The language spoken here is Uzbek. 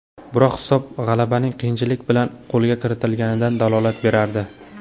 Biroq hisob g‘alabaning qiyinchilik bilan qo‘lga kiritilganidan dalolat berardi.